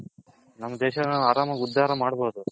ನಮ್ ದೇಶ ನ ಆರಾಮಾಗಿ ಉದಾರ ಮಡ್ಬೌದು